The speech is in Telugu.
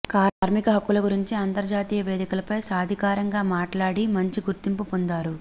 కార్మిక హక్కుల గురించి అంతర్జాతీయ వేదికలపై సాధికారకంగా మాట్లాడి మంచి గుర్తింపు పొందారు